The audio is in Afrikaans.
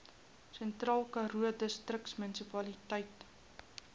sentraalkaroo distriksmunisipaliteit